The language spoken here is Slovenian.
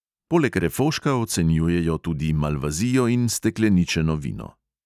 Poleg refoška ocenjujejo tudi malvazijo in stekleničeno vino.